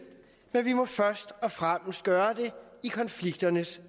men vi må først og fremmest gøre det i konflikternes